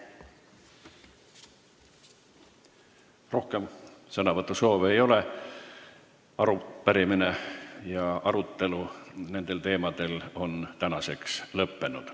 Rohkem sõnavõtusoove ei ole, arutelu nendel teemadel on lõppenud.